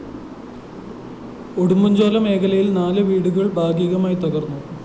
ഉടുമ്പന്‍ചോല മേഖലയില്‍ നാല് വീടുകള്‍ ഭാഗീകമായി തകര്‍ന്നു